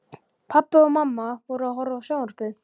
Pabbi og mamma voru að horfa á sjónvarpið.